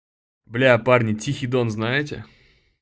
бля парни тихий дон знаете